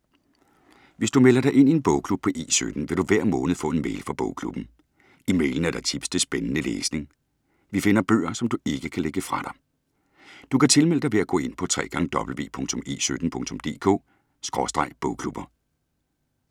Hvis du melder dig ind i en bogklub på E17, vil du hver måned få en mail fra bogklubben. I mailen er der tips til spændende læsning. Vi finder bøger, som du ikke kan lægge fra dig. Du kan tilmelde dig ved at gå ind på www.e17.dk/bogklubber